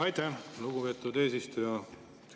Aitäh, lugupeetud eesistuja!